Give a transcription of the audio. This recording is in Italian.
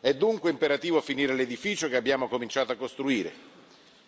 È dunque imperativo finire l'edificio che abbiamo cominciato a costruire,